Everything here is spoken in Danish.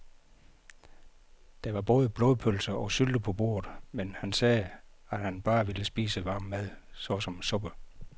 Der var både blodpølse og sylte på bordet, men han sagde, at han bare ville spise varm mad såsom suppe.